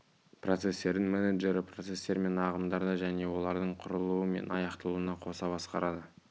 процестердің менеджері процестер мен ағымдарды және олардың құрылуы мен аяқталуын қоса басқарады